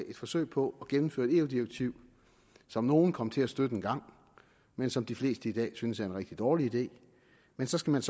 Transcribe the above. et forsøg på at gennemføre et eu direktiv som nogle kom til at støtte engang men som de fleste i dag synes er en rigtig dårlig idé men så skal man